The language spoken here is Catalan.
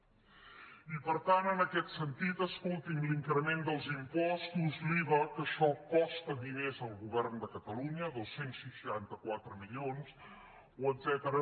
i per tant en aquest sentit escolti’m l’increment dels impostos l’iva que això costa diners al govern de catalunya dos cents i seixanta quatre milions o etcètera